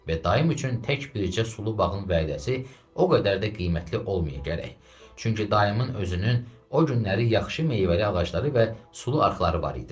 Və daim üçün tək bircə sulu bağın vədəsi o qədər də qiymətli olmaya gərək, çünki dayımın özünün o günləri yaxşı meyvəli ağacları və sulu arxları var idi.